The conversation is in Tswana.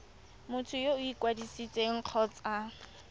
motho yo o ikwadisitseng kgotsa